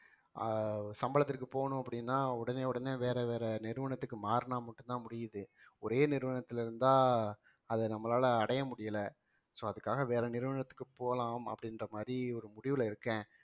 ஆஹ் சம்பளத்திற்கு போகணும் அப்படின்னா உடனே உடனே வேற வேற நிறுவனத்துக்கு மாறுனா மட்டும் தான் முடியுது ஒரே நிறுவனத்துல இருந்தா அதை நம்மளால அடைய முடியல so அதுக்காக வேற நிறுவனத்துக்கு போலாம் அப்படின்ற மாதிரி ஒரு முடிவுல இருக்கேன்